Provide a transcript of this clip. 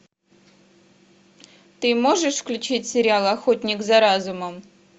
ты можешь включить сериал охотник за разумом